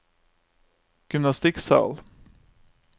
gymnastikksal